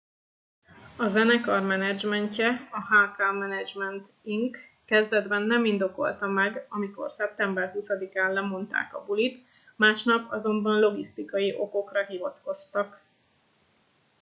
a zenekar menedzsmentje a hk management inc - kezdetben nem indokolta meg amikor szeptember 20 án lemondták a bulit másnap azonban logisztikai okokra hivatkoztak